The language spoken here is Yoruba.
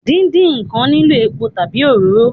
Díndín ǹkan nílò epo tàbí òróró